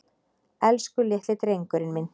Elsku litli drengurinn minn.